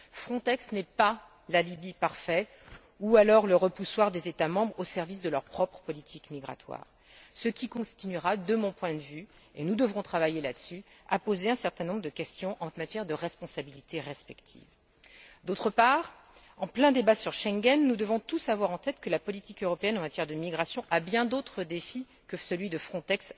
Frontex n'est pas l'alibi parfait ni le repoussoir des États membres au service de leur propre politique migratoire, ce qui continuera de mon point de vue et nous devrons travailler sur ce sujet à poser un certain nombre de questions en matière de responsabilités respectives. D'autre part, en plein débat sur Schengen, nous devons tous avoir en tête que la politique européenne en matière de migration a bien d'autres défis à relever que celui de Frontex